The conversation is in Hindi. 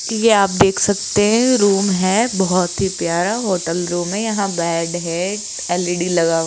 जी ये आप देख सकते हैं रूम है बहोत ही प्यारा होटल रूम है यहां बेड है एल_ई_डी लगा --